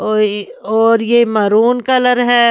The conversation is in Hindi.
और और ये मरून कलर है।